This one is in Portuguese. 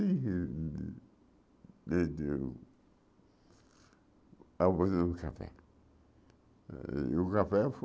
abusando café. E o café